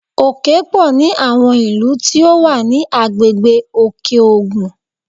Òkè pọ̀ ní àwọn ilú tí ó wà ní agbègbè Òkè-Ògùn